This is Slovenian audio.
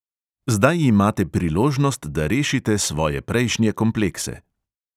Zdaj imate priložnost, da rešite svoje prejšnje komplekse.